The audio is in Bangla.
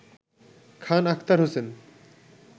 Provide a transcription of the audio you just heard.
খান আখতার হোসেন